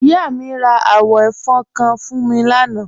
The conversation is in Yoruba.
Ìyà mi rá àwọn ẹ̀fọn kán fún mí lànà.